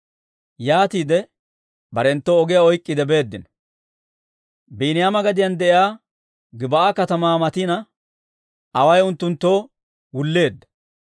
Yaatiide barenttu ogiyaa oyk'k'iide beeddino. Biiniyaama gadiyaan de'iyaa Gib'aa katamaa matina, away unttunttoo wulleedda.